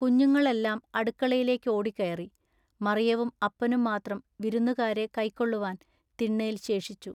കുഞ്ഞുങ്ങളെല്ലാം അടുക്കളയിലോടിക്കേറി. മറിയവും അപ്പനും മാത്രം വിരുന്നുകാരെ കയ്ക്കൊള്ളുവാൻ തിണ്ണെൽ ശേഷിച്ചു.